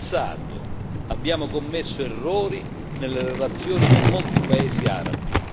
In passato, abbiamo commesso errori nelle relazioni con molti Paesi arabi.